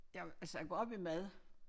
Jeg altså jeg går op i mad